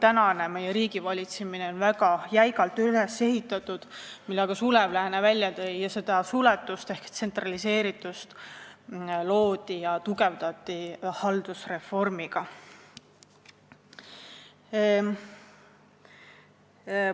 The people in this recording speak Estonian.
Meie praegune riigivalitsemine on väga jäigalt üles ehitatud – seda tõi välja ka Sulev Lääne – ja seda suletust ehk tsentraliseeritust loodi ja tugevdati haldusreformiga.